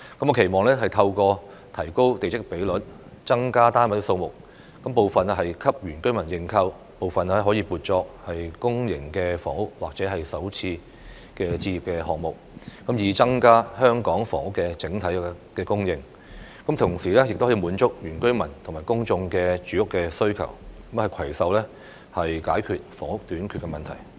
我期望透過提高地積比率，增加單位數目，部分給原居民認購，部分可以撥作公營房屋或首次置業項目，以增加香港房屋的整體供應，同時滿足原居民和公眾的住屋需求，攜手解決房屋短缺的問題。